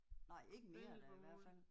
Nej ikke mere da i hvert fald